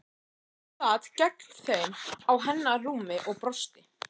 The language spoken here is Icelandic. Sveinn sat gegnt þeim á hennar rúmi og brosti.